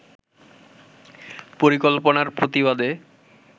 পরিকল্পনার প্রতিবাদে